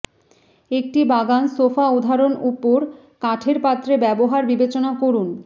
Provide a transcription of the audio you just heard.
একটি বাগান সোফা উদাহরণ উপর কাঠের পাত্রে ব্যবহার বিবেচনা করুন